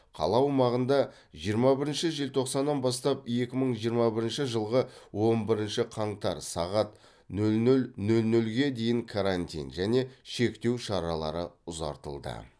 қала аумағында жиырма бірінші желтоқсаннан бастап екі мың жиырма бірінші жылғы он бірінші қаңтар сағат нөл нөл нөл нөлге дейін карантин және шектеу шаралары ұзартылды